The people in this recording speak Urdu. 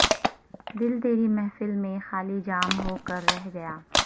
دل تری محفل میں خالی جام ہو کر رہ گیا